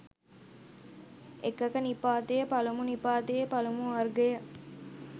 එකක නිපාතය පළමු නිපාතයේ පළමු වර්ගය